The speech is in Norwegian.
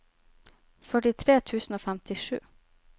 førtitre tusen og femtisju